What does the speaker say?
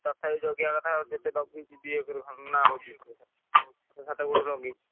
ତଥାପି ଜଗିବା କଥା । ତୋ ଖାତାକୁ ଲଗେଇଛି।